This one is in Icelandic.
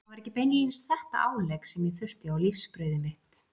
Það var ekki beinlínis þetta álegg sem ég þurfti á lífsbrauðið mitt.